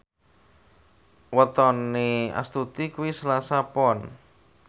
wetone Astuti kuwi Selasa Pon